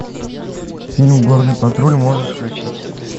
фильм горный патруль можешь включить